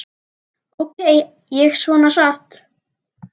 Ók ég svona hratt?